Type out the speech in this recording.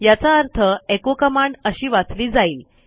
याचा अर्थ echo command अशी वाचली जाईल